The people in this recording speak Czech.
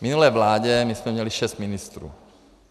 V minulé vládě my jsme měli šest ministrů.